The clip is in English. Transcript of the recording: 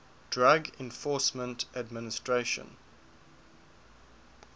drug enforcement administration